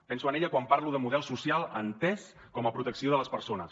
penso en ella quan parlo de model social entès com a protecció de les persones